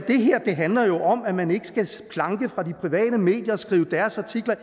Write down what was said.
det her handler om at man ikke skal planke fra de private medier og skrive deres artikler af